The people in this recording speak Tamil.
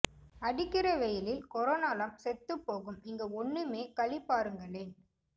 அடிக்கிற வெயிலில் கோரோனோ லாம் செத்து போகும் இங்க ஒண்ணுமே களி பாருங்களேன்